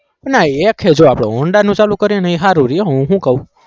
ના એક છે જો honda નુ ચાલુ કરીને એ સારું રહે હું શું કહું